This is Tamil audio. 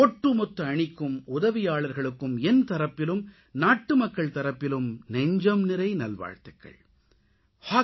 ஒட்டுமொத்த அணிக்கும் உதவியாளர்களுக்கும் என் தரப்பிலும் நாட்டுமக்கள் தரப்பிலும் நெஞ்சம்நிறை நல்வாழ்த்துக்கள்